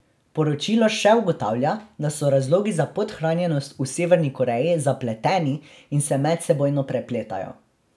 Poročilo še ugotavlja, da so razlogi za podhranjenost v Severni Koreji zapleteni in se medsebojno prepletajo.